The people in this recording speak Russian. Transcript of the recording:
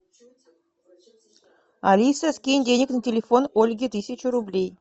алиса скинь денег на телефон ольге тысячу рублей